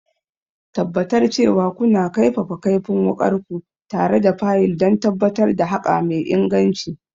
Tabbatar cewa kuna kaifafa kaifin wukarku tare da fayil don tabbatar da haƙa mai inganci.